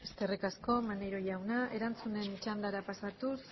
eskerrik asko maneiro jauna erantzunen txandara pasatuz